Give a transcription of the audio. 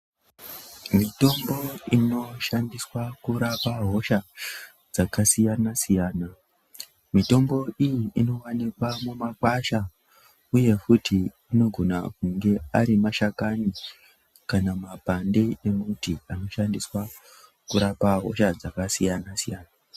Mitombo inoshandiswa kurapa hosha dzakasiyana siyana, mitombo iyi, inowanikwa mumakwasha, uye futhi inogona kunge arimashakani kana mapande embuti anoshandiswa kurapa hosha dzakasiyana siyana.